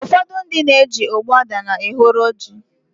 ụfọdụ ndị na-eji ogbuadana n'ehoro ji